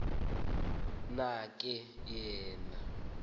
na ke yena